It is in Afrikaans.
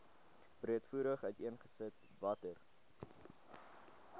breedvoerig uiteengesit watter